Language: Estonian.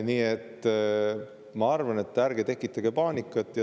Nii et ma arvan, et ärge tekitage paanikat.